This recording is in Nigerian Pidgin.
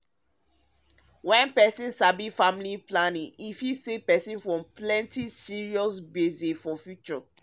wen peson sabi family planning fit save peson from plenty serious gbege for future.